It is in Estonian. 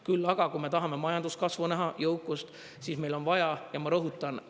Küll aga kui me tahame majanduskasvu näha, jõukust, siis meil on vaja – ja ma rõhutan!